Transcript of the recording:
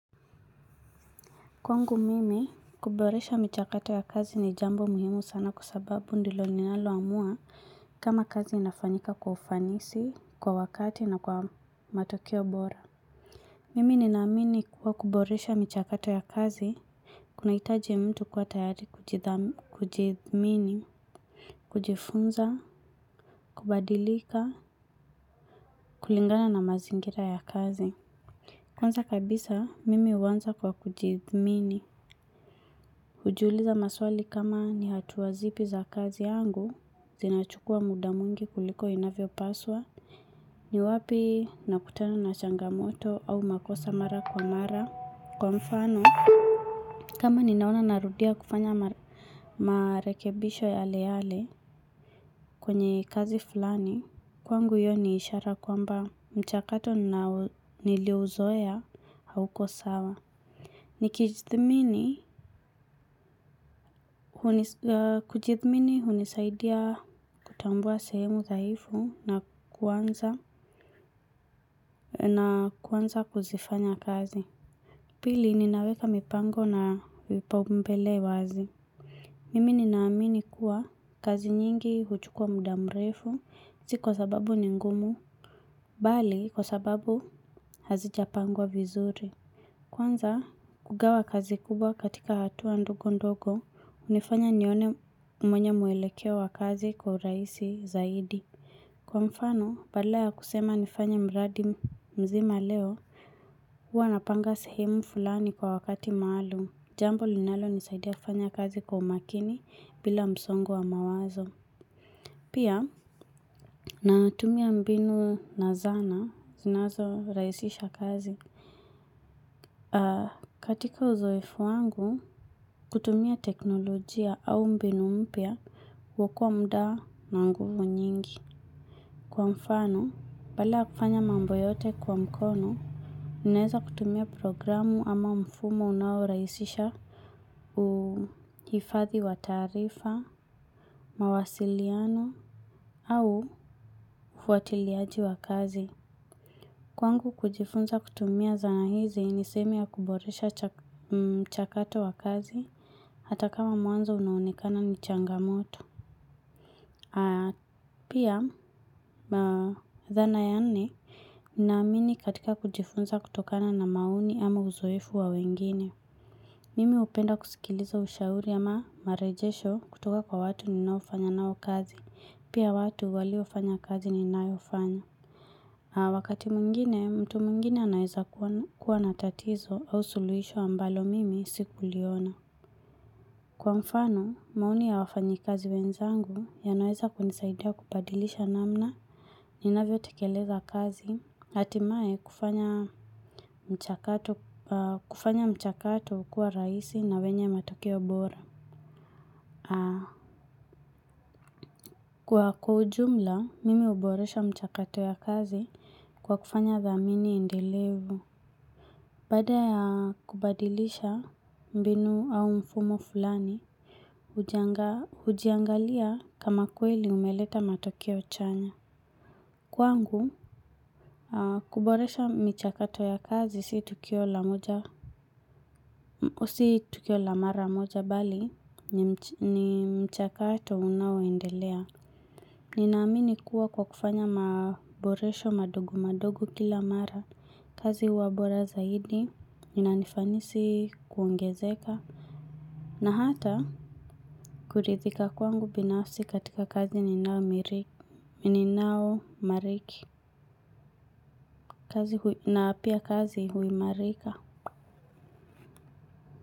Kwangu mimi, kuboresha michakato ya kazi ni jambo muhimu sana kwa sababu ndilo ninaloamua kama kazi inafanyika kwa ufanisi, kwa wakati na kwa matokeo bora. Mimi ninaamini kuwa kuboresha michakato ya kazi, kunaitaji mtu kuwa tayari kujithmini, kujifunza, kubadilika, kulingana na mazingira ya kazi. Kwanza kabisa, mimi huanza kwa kujithmini. Ujiuliza maswali kama ni hatua zipi za kazi yangu, zinachukua muda mwingi kuliko inavyopaswa, ni wapi nakutana na changamoto au makosa mara kwa mara kwa mfano. Kama ninaona narudia kufanya marekebisho yale yale kwenye kazi fulani, kwangu hio ni ishara kwamba mchakato niliouzoea hauko sawa. Kujithmini unisaidia kutambua sehemu zdhaifu na kuanza na kuanza kuzifanya kazi. Pili ninaweka mipango na vipaumbele wazi. Mimi ninaamini kuwa kazi nyingi huchukua mda mrefu si kwa sababu ni ngumu bali kwa sababu hazijapangwa vizuri. Kwanza kugawa kazi kubwa katika hatua ndogo ndogo. Unifanya nione mwenye mwelekeo wa kazi kwa uraisi zaidi. Kwa mfano, badala ya kusema nifanye mradi mzima leo uwa napanga sehemu fulani kwa wakati maalum. Jambo linalonisaidia kufanya kazi kwa umakini bila msongo wa mawazo. Pia, natumia mbinu na zana, zinazo raisisha kazi. Katika uzoefu wangu, kutumia teknolojia au mbinu mpya huokoa mudaa na nguvu nyingi. Kwa mfano, bala ya kufanya mambo yote kwa mkono, ninaeza kutumia programu ama mfumo unaoraisisha uhifadhi wa taarifa, mawasiliano, au hufuatiliaji wa kazi. Kwangu kujifunza kutumia zana hizi ni sehemu ya kuboresha chakato wa kazi hata kama mwanzo unaonekana ni changamoto. Pia, dhana ya nne, naamini katika kujifunza kutokana na maoni ama uzoefu wa wengine. Mimi upenda kusikiliza ushauri ama marejesho kutoka kwa watu ninaofanya nao kazi, pia watu waliofanya kazi ninayofanya. Wakati mwingine, mtu mwingine anaeza kuwa na tatizo au suluisho ambalo mimi sikuliona. Kwa mfano, maoni ya wafanyikazi wenzangu yanaweza kunisaidia kubadilisha namna ninavyotekeleza kazi atimae kufanya mchakato kuwa raisi na wenye matokeo bora. Kwa ujumla, mimi uboresha mchakato ya kazi kwa kufanya dhamini endelevu. Baada ya kubadilisha mbinu au mfumo fulani, hujiangalia kama kweli umeleta matokeo chanya. Kwangu, kuboresha michakato ya kazi si tukio la mara moja bali ni mchakato unaoendelea. Ninaamini kuwa kwa kufanya maboresho madogo madogo kila mara. Kazi huwa bora zaidi, inanifanisi kuongezeka, na hata kuridhika kwangu binafsi katika kazi ninaomariki, na pia kazi huimarika.